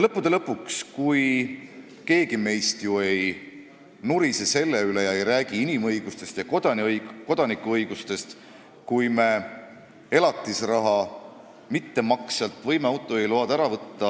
Lõppude lõpuks meist keegi ei nurise selle üle ega räägi inimõigustest ja kodanikuõigustest, kui me elatisraha mittemaksjalt võime autojuhiloa ära võtta.